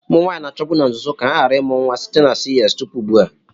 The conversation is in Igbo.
Ụmụ nwanyị na-achọbu na nzuzo ka ha ghara ịmụ nwa site na CS tupu ugbu a.